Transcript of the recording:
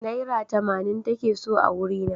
Naira tamanin take so a wurina.